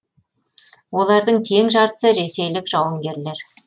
олардың тең жартысы ресейлік жауынгерлер